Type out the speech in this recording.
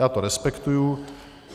Já to respektuji.